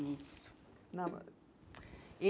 Isso.